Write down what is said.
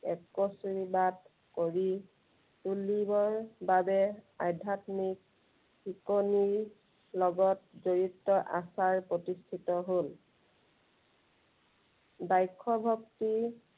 একস্বৰী বাদ কৰি তুলিবৰ বাবে আধ্য়াত্মিক শিকনিৰ লগত জড়িতে আচাৰ প্ৰতিষ্ঠিত হল। বাষ্য় ভক্তি